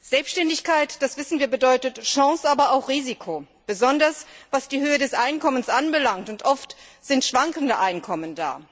Selbständigkeit, das wissen wir, bedeutet Chance, aber auch Risiko, besonders was die Höhe des Einkommens anbelangt, und oft schwanken die Einkommen.